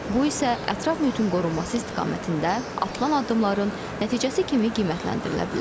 Bu isə ətraf mühitin qorunması istiqamətində atılan addımların nəticəsi kimi qiymətləndirilə bilər.